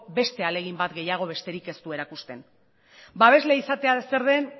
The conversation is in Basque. beste ahalegin bat gehiago besterik ez du erakusten babesle izatea zer den